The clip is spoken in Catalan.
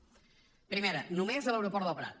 primera només a l’aeroport del prat